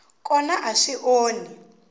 n kona a swi onhi